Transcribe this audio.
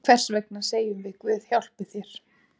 Hvers vegna segjum við Guð hjálpi þér?